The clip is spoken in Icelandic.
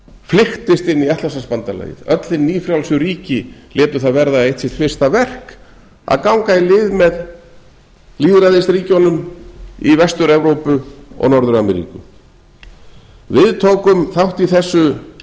flykktist inn í atlantshafsbandalagið öll hin nýfrjálsu ríki létu það verða eitt sitt fyrsta verk að ganga í lið með lýðræðisríkjunum í vestur evrópu og norður ameríku við tókum þátt í